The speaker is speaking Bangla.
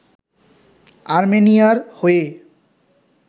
আর্মেনিয়ার হয়ে